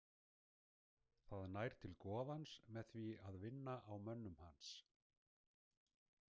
Það nær til goðans með því að vinna á mönnum hans.